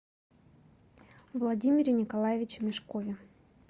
владимире николаевиче мешкове